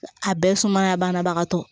A bɛɛ ye sumaya banabagatɔ